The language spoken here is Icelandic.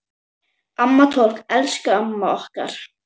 Amma Toll, elsku amma okkar.